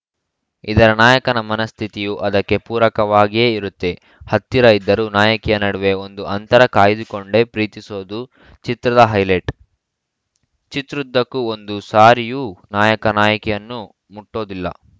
ಇದರ ನಾಯಕನ ಮನಸ್ಥಿತಿಯೂ ಅದಕ್ಕೆ ಪೂರಕವಾಗಿಯೇ ಇರುತ್ತೆ ಹತ್ತಿರ ಇದ್ದರೂ ನಾಯಕಿಯ ನಡುವೆ ಒಂದು ಅಂತರ ಕಾಯ್ದುಕೊಂಡೇ ಪ್ರೀತಿಸೋದು ಚಿತ್ರದ ಹೈಲೈಟ್‌ ಚಿತ್ರದುದ್ದಕ್ಕೂ ಒಂದು ಸಾರಿಯೂ ನಾಯಕ ನಾಯಕಿಯನ್ನು ಮುಟ್ಟೋದಿಲ್ಲ